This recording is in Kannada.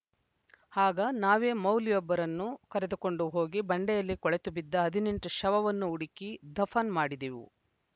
ಆಗ ನಾವೇ ಮೌಲ್ವಿಯೊಬ್ಬರನ್ನು ಕರೆದುಕೊಂಡು ಹೋಗಿ ಬಂಡೆಯಲ್ಲಿ ಕೊಳೆತುಬಿದ್ದ ಹದಿನೆಂಟು ಶವವನ್ನು ಹುಡುಕಿ ದಫನ್‌ ಮಾಡಿದೆವು